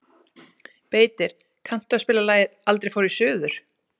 Beitir, kanntu að spila lagið „Aldrei fór ég suður“?